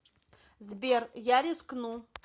сбер я рискну